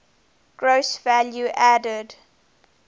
gross value added